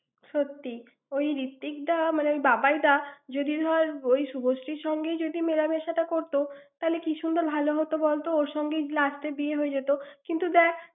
সত্যি। ওই ঋত্বিকদা, মানে বাবাই দা যদি ধর ওই শুভশ্রীর সঙ্গে যদি মেলামেশাটা করত, তাহলে কী সুন্দর ভালো হত বলত? ওর সঙ্গেই last এ বিয়ে হয়ে যেতো। কিন্তু দ্যাখ।